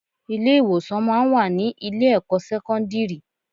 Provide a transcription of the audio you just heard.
Ilé ìwòsàn máa ń wà ní ilé ẹ̀kọ́ sẹ́kọ́ńdírì.